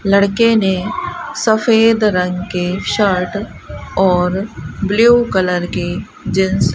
लड़के ने सफेद रंग के शर्ट और ब्लू कलर के जींस --